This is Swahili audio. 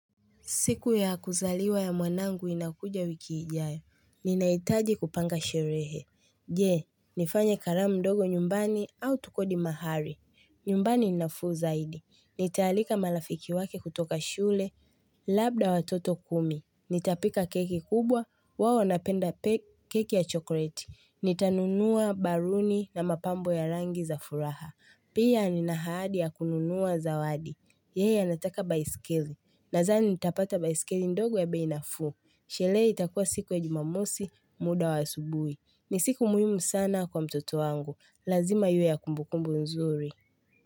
Siku ya kuzaliwa ya mwanangu inakuja wiki ijayo. Ninahitaji kupanga sherehe. Je, nifanye karamu ndogo nyumbani au tukodi mahali. Nyumbani ni nafuu zaidi. Nitaalika marafiki wake kutoka shule. Labda watoto kumi. Nitapika keki kubwa. Wao wanapenda keki ya chokoleti. Nitanunua baluni na mapambo ya rangi za furaha. Pia nina ahadi ya kununua zawadi. Yeye anataka baiskeli. Nadhani nitapata baiskeli ndogo ya bei nafuu. Sherehe itakuwa siku ya jumamosi, muda wa asubuhi. Ni siku muhimu sana kwa mtoto wangu. Lazima iwe ya kumbukumbu nzuri.